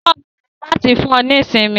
Kọ ọmọ rẹ láti fún ọ ní ìsinmi.